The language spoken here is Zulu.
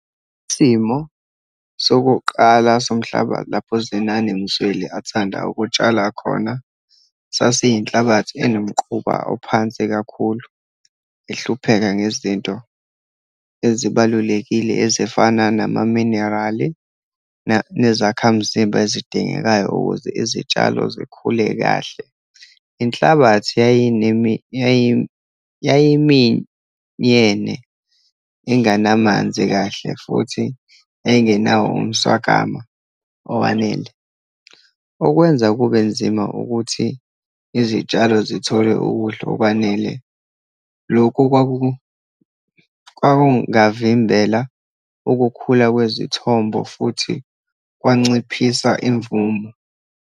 Isimo sokuqala somhlaba, lapho uZenani Msweli athanda ukutshala khona, sasiyinhlabathi enomquba ophansi kakhulu, ehlupheka ngezinto ezibalulekile, ezifana namaminerali nezakhamzimba ezidingekayo ukuze izitshalo zikhule kahle. Inhlabathi yayiminyene, inganamanzi kahle, futhi yayingenawo umswakama owanele, okwenza kube nzima ukuthi izitshalo zithole ukudla okwanele. Lokhu kwakungavimbela ukukhula kwezithombo, futhi kwanciphisa imvumo.